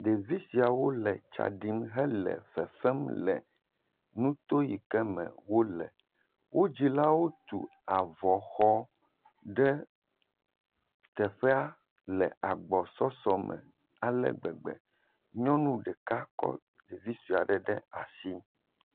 Ɖevi siawo le tsa ɖim hele fefem le nuto yike wole. Wo dzilawo tu avɔ xɔ ɖe teƒea le agbɔsɔsɔ me ale gbeggbe. Nyɔnu ɖeka kɔ ɖevi sɔe aɖe ɖe asi.